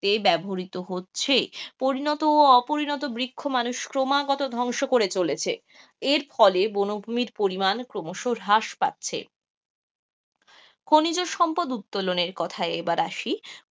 যে ব্যবহৃত হচ্ছে পরিণত ও অপরিণত বৃক্ষ মানুষ ক্রমাগত ধ্বংস করে চলেছে, এর ফলে বনভূমির পরিমাণ ক্রমশ হ্রাস পাচ্ছে, খনিজ সম্পদ উত্তোলনের কোথায় এবার আসি,